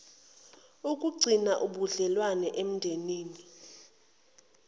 ukugcina ubudlelwano emndenini